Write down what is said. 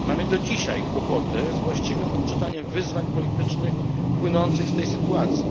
Mamy do dzisiaj kłopoty z właściwym odczytaniem wyzwań politycznych płynących z tej sytuacji.